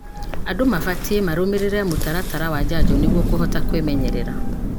Andũ mabatie marũmĩrĩre mũtaratara wa njanjo nĩguo kũhota kwĩmenyerera.